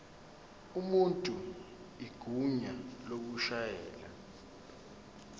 umuntu igunya lokushayela